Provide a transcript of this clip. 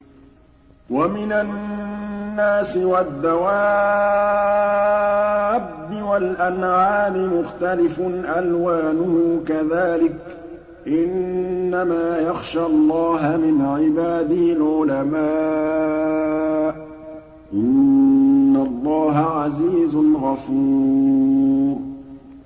وَمِنَ النَّاسِ وَالدَّوَابِّ وَالْأَنْعَامِ مُخْتَلِفٌ أَلْوَانُهُ كَذَٰلِكَ ۗ إِنَّمَا يَخْشَى اللَّهَ مِنْ عِبَادِهِ الْعُلَمَاءُ ۗ إِنَّ اللَّهَ عَزِيزٌ غَفُورٌ